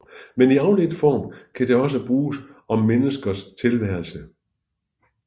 Men i afledt form kan det også bruges om menneskers tilværelse